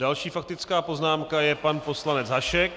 Další faktická poznámka je pan poslanec Hašek.